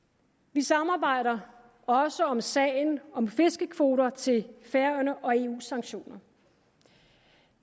vi samarbejder også om sagen om fiskekvoter til færøerne og eus sanktioner